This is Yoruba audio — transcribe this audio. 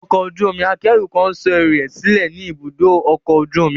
Ọkọ̀ ojú omi akẹ́rù kan ń sọ ẹrù rẹ̀ sílẹ̀ ní ibùdó ọkọ̀ ojú omi.